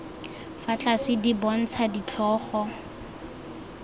fa tlase di bontsha ditlhogo